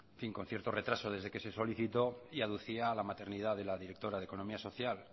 con cierto retraso desde que se solicito y aducía a la maternidad de la directora de economía social